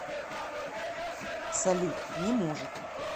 салют не может